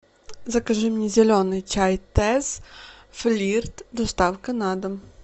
закажи мне зеленый чай тесс флирт доставка на дом